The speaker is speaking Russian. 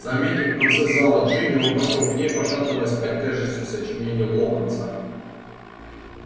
заметив в конце зала джинни он пошёл к ней пошатываясь под тяжестью сочинений локонса